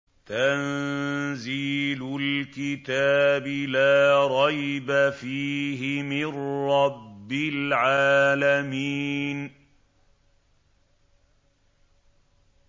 تَنزِيلُ الْكِتَابِ لَا رَيْبَ فِيهِ مِن رَّبِّ الْعَالَمِينَ